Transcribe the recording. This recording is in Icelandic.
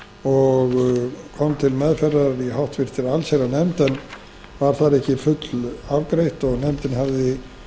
og kom til meðferðar í háttvirta allsherjarnefnd en var þar ekki fullafgreitt og nefndin hafði þess vegna